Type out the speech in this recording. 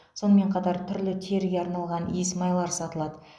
сонымен қатар түрлі теріге арналған иісмайлар сатылады